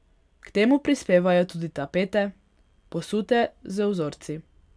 K temu prispevajo tudi tapete, posute z vzorci.